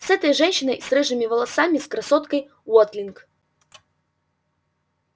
с этой женщиной с рыжими волосами с красоткой уотлинг